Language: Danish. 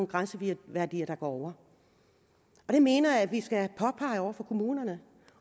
grænseværdier der går over og det mener jeg at vi skal påpege over for kommunerne